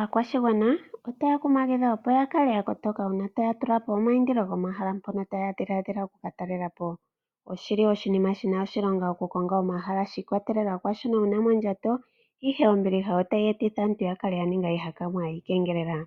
Aakwashigwan otaya kumagidhwa opo yakale yakotoka una taya tulapo omaindilo gomahala ngono taya dhiladhila oku katalelapo. Oshili shina oshilonga oku konga omahala shi ikwatelela kwashono wuna mondjato, ihe ombiliha otayi ningitha aantu ihakanwa yuukengelela.